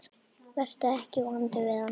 Vertu ekki vondur við hana.